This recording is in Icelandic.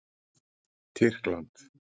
Tyrkland